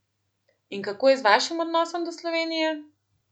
In kako je z vašim odnosom do Slovenije?